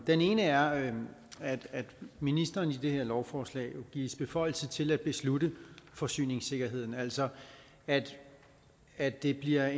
den ene er at ministeren i det her lovforslag gives beføjelse til at beslutte forsyningssikkerheden altså at at det bliver